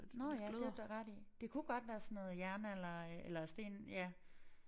Nåh ja det har du da ret i. Det kunne godt være sådan noget jernalder eller sten ja